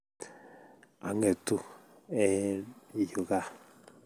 Angetu eng yuu gaa